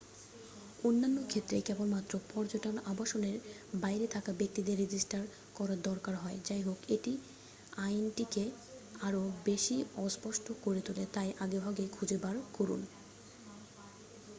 অন্যান্য ক্ষেত্রে কেবলমাত্র পর্যটন আবাসনের বাইরে থাকা ব্যক্তিদের রেজিস্টার করার দরকার হয় যাইহোক এটি আইনটিকে আরও বেশি অস্পষ্ট করে তোলে তাই আগেভাগেই খুঁজে বার করুন